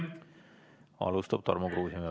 Alustab Tarmo Kruusimäe.